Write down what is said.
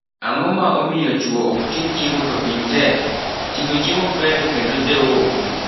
Ang'o ma omio chuo okting' chiemo to piny tek? Ting'o chiemo ber kendo dewo ofuko.